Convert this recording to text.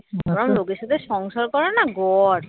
এরকম লোকের সাথে সংসার করাও না গড়